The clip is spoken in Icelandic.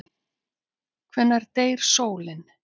Hvenær deyr sólin?